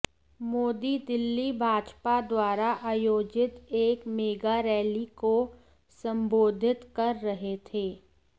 मोदी दिल्ली भाजपा द्वारा आयोजित एक मेगा रैली को संबोधित कर रहे थे